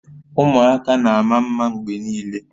Ụmụaka na-ama mma mgbe niile